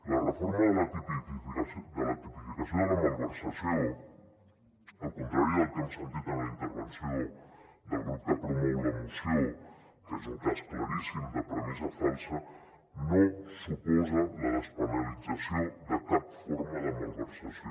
la reforma de la tipificació de la malversació al contrari del que hem sentit en la intervenció del grup que promou la moció que és un cas claríssim de premissa falsa no suposa la despenalització de cap forma de malversació